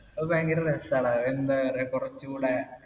അത് ഭയങ്കര രസാടാ എന്താറയ കുറച്ചൂടെ